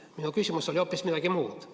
Minu küsimus oli hoopis midagi muud.